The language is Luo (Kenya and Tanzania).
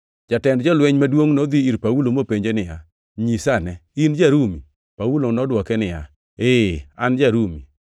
Jatend jolweny maduongʼ nodhi ir Paulo mopenje niya, “Nyisa ane! In ja-Rumi?” Paulo nodwoke niya, “Ee, an ja-Rumi.”